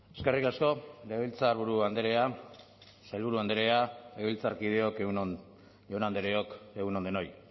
eskerrik asko legebiltzarburu andrea sailburu andrea legebiltzarkideok egun on jaun andreok egun on denoi